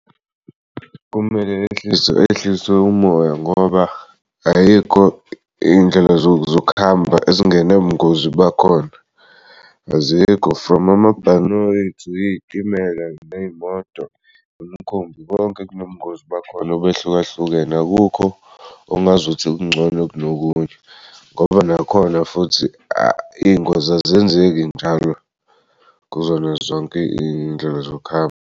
Kumele ehlise ehlise umoya ngoba ayikho iy'ndlela zokuhamba ezingenabungozi bakhona azikho from amabhanoyi to iy'timela, ney'moto, nemikhumbi, konke kunobungozi bakhona obehlukahlukene. Akukho ongazuthi kungcono kunokunye ngoba nakhona futhi iy'ngozi azenzeki njalo kuzona zonke iy'ndlela zokuhamba.